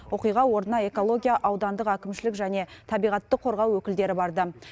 оқиға орнына экология аудандық әкімшілік және табиғатты қорғау өкілдері барды